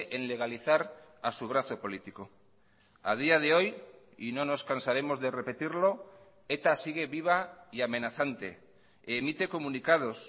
en legalizar a su brazo político a día de hoy y no nos cansaremos de repetirlo eta sigue viva y amenazante emite comunicados